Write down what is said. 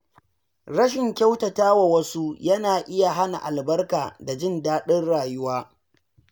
Rashin kyautata wa wasu yana iya hana albarka da jin daɗin rayuwa.